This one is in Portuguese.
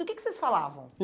Do que que vocês falavam?